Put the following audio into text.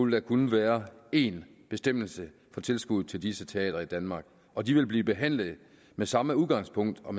der kun være én bestemmelse for tilskud til disse teatre i danmark og de vil blive behandlet med samme udgangspunkt og